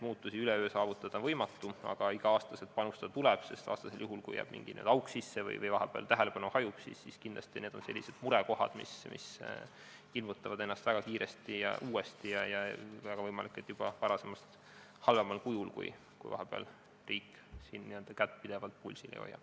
Muutusi üleöö saavutada on võimatu, aga tuleb iga aasta panustada, sest kui jääb mingi auk sisse või tähelepanu vahepeal hajub, siis kindlasti on need sellised murekohad, mis ilmutavad ennast väga kiiresti ja uuesti ning väga võimalik, et juba varasemast halvemal kujul, kui riik n-ö kätt pidevalt pulsil ei hoia.